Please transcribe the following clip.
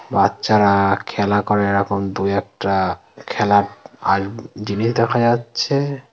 বাচ্চারা-আ খেলা করে এরকম দুই একটা খেলার আ জিনিস দেখা যাচ্ছে।